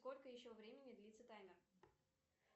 сколько еще времени длиться таймер